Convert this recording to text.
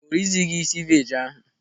O ri zighi ceviche ahụ.